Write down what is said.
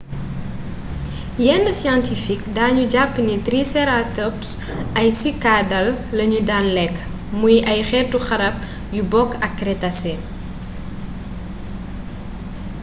yenn scientifique dañu jàpp ni triceratops ay cycadale lañu daan lekk muy ay xeeti xarab yu bokk ak crétacé